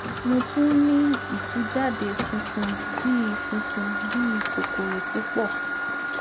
mo tún n ní ìtújáde funfun bí i funfun bí i kòkòrò púpọ